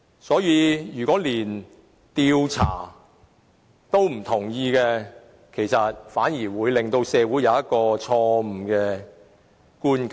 因此，如果連調查也不同意，反而會令社會產生錯誤的觀感。